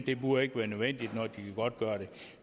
det burde ikke være nødvendigt når de godtgør det